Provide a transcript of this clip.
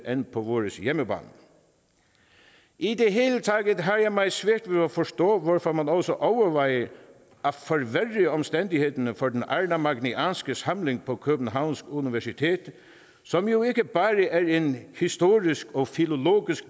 end på vores hjemmebane i det hele taget har jeg meget svært ved at forstå hvorfor man også overvejer at forværre omstændighederne for den arnamagnæanske samling på københavns universitet som jo ikke bare er en historisk og filologisk